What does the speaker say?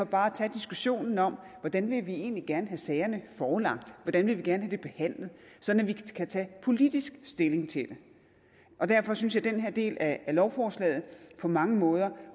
bare tage diskussionen om hvordan vi vi egentlig gerne vil have sagerne forelagt hvordan vi gerne vil have dem sådan at vi kan tage politisk stilling til det og derfor synes jeg at den her del af lovforslaget på mange måder